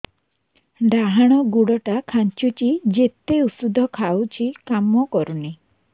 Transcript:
ଡାହାଣ ଗୁଡ଼ ଟା ଖାନ୍ଚୁଚି ଯେତେ ଉଷ୍ଧ ଖାଉଛି କାମ କରୁନି